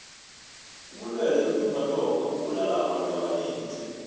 ubulwele bentumbantonga bubulala abantu abanengi tle